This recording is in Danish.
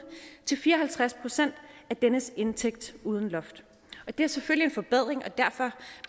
til fire og halvtreds procent af dennes indtægt uden loft det er selvfølgelig en forbedring og derfor